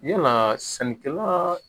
Yalaa sɛnɛkɛla